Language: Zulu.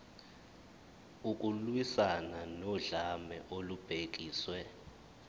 ukulwiswana nodlame olubhekiswe